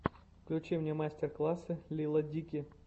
включи мне мастер классы лила дики